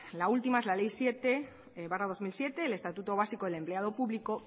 la última es la ley siete barra dos mil siete el estatuto básico del empleado público